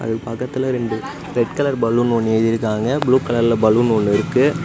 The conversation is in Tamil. அது பக்கத்துல ரெண்டு ரெட் கலர் பலூன் ஒண்ணு எழுதிருக்காங்க ப்ளூ கலர்ல பலூன் ஒண்ணு இருக்கு.